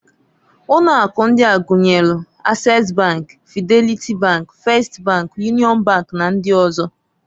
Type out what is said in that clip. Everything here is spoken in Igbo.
Ụnọ aku ndia gunyeluː Access bank, Fidenlity bank, First bank, Union bank, na ndi ọzọ.